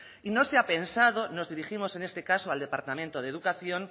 y no se ha pensado nos dirigimos en este caso al departamento de educación